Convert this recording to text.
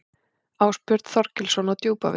Ásbjörn Þorgilsson á Djúpavík